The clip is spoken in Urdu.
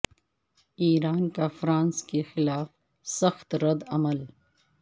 ایران کا فرانس کے خلاف سخت رد عمل